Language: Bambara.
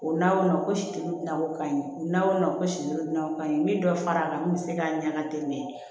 O nawo situgulaw ka ɲi o naw na ko siɲɛ ka ɲi min dɔ fara kan min bɛ se k'a ɲaga tɛmɛ